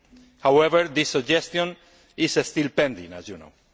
However, this suggestion is still pending, as you know.